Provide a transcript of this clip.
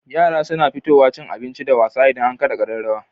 Yara na fitowa cin abinci da wasa idan an kada kararraw